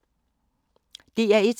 DR1